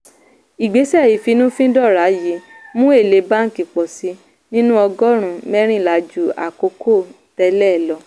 ìgbésẹ̀ ìfínnúfíndọ́ra yìí mú èlé báńkì pọ̀ sí nínú ọgọ́rùn-ún mẹ́rìnlá ju àkókò tẹ́lẹ̀ lọ.